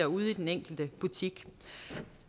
ude i den enkelte butik